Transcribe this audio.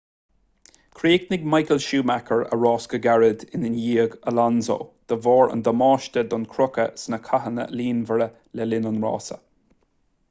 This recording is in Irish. chríochnaigh michael schumacher a rás go gairid i ndiaidh alonso de bharr an damáiste don chrochadh sna cathanna líonmhara le linn an rása